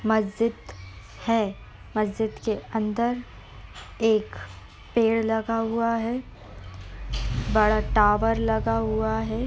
मस्जिद है | मस्जिद के अंदर एक पेड़ लगा हुआ है | बड़ा टावर लगा हुआ है।